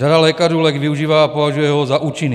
Řada lékařů lék využívá a považuje ho za účinný.